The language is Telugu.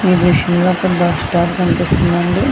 ఈ దృశ్యం లో ఒక బస్ స్టాప్ కనిపిస్తుంది అండి.